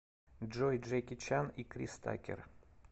джой джеки чан и крис такер